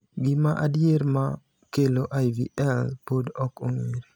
Gima adier ma kelo IVL pod ok ong’ere.